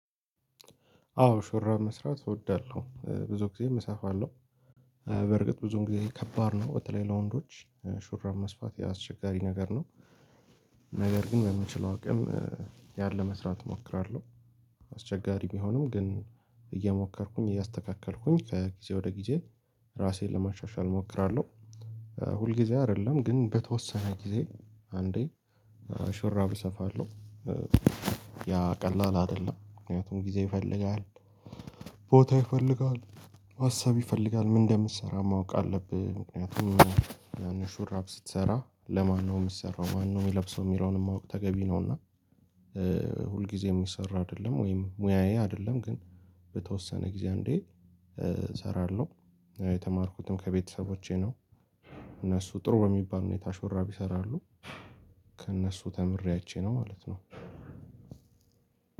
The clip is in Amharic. አዎ ሹራብ መስራት እወዳለሁ ብዙ ጊዜ እሰፍለው በርግጥ ብዙ ጊዜ ከባድ ነው በተለይ ለወንዶች ሹራብ መስፋት የአስቸጋሪ ነገር ነው። ነገር ግን በምችለው አቅም ያን ለመስራት እሞክራለሁ። አስቸጋሪ ቢሆንም ግን እየሞከርኩኝ እያስተካከልኩኝ ከጊዜ ወደ ጊዜ ራሴን ለማሻሻል እሞክራለሁ። ሁልጊዜ አይደለም ግን በተወሰነ ጊዜ አንዴ ሹራብ እሰፋለሁ። ያ ቀላል አይደለም ምክንያቱም ጊዜ ይፈልጋል። ቦታ ይፈልጋል። ሀሳብ ይፈልጋል ምን እንደምትሰራ ማወቅ አለብህ ምክንያቱም ያንን ሹራብ ስትሰራ ለማነው የሚሰራው ማነው የሚለብሰው የሚለውንም ማወቅ ተገቢ ነውና። ሁልጊዜ የሚሰራ አይደለም ወይም ሙያዬ አይደለም ግን በተወሰነ ጊዜ አንዴ እሰራለሁ። የተማርኩትም ከቤተሰቦቼ ነው። እነሱ ጥሩ በሚባል ሁኔታ ሹራብ ይሰራሉ። ከእነሱ ተምሬአይቸነው ማለት ነው።